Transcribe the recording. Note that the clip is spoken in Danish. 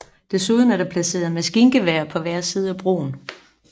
Desuden er der placeret maskingeværer på hver side af broen